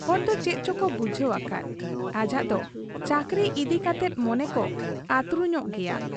ᱦᱚᱲᱫᱚ ᱪᱮᱫ ᱪᱚᱠᱚ ᱵᱩᱡᱷᱟᱹᱣ ᱟᱠᱟᱫ, ᱟᱡᱟᱜ ᱫᱚ ᱪᱟᱹᱠᱨᱤ ᱤᱫᱤ ᱠᱟᱛᱮᱫᱚ ᱢᱚᱱᱮᱠᱚ ᱟᱹᱛᱨᱩᱧᱚᱜ ᱜᱮᱭᱟ ᱾